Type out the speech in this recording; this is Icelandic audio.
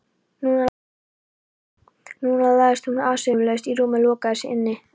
Núna lagðist hún umsvifalaust í rúmið og lokaði sig inni.